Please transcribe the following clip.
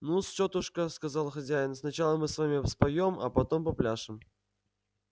ну-с тётушка сказал хозяин сначала мы с вами споём а потом попляшем